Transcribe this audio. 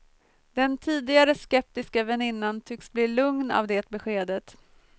Den tidigare skeptiska vänninan tycks bli lugn av det beskedet.